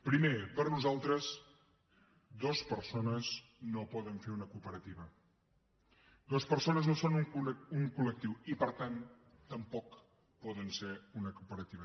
primer per nosaltres dues persones no poden fer una cooperativa dues persones no són un col·lectiu i per tant tampoc poden ser una cooperativa